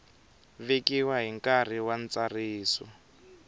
vekiwa hi nkarhi wa ntsariso